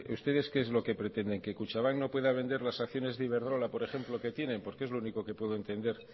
ustedes qué es lo que pretenden que kutxabank no pueda vendar las acciones de iberdrola por ejemplo que tienen porque es lo único que puedo entender